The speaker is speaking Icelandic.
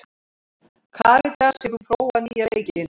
Karitas, hefur þú prófað nýja leikinn?